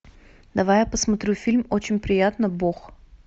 давай я посмотрю фильм очень приятно бог